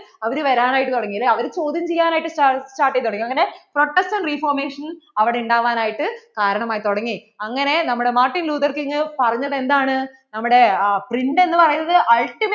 അവരു വരാൻ ആയിട്ട് തുടങ്ങി അല്ലെ അവരു ചോദ്യം ചെയ്യൻ ആയിട്ട് start ചെയ്തു തുടങ്ങി അങ്ങനെ protection reformation അവിടെ ഉണ്ടാവാൻ ആയിട്ട് കാരണം ആയി തുടങ്ങി അങ്ങനെ നമ്മടെ മാർട്ടിൻ ലൂഥർ കിംഗ് പറഞ്ഞത് എന്താണ് നമ്മടെ print എന്ന് പറയുന്നത് ultimate